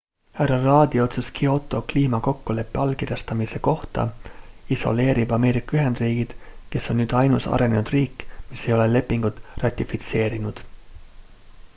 hr rudd'i otsus kyoto kliimakokkuleppe allkirjastamise kohta isoleerib ameerika ühendriigid kes on nüüd ainus arenenud riik mis ei ole lepingut ratifitseerinud